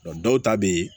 dɔw ta bɛ yen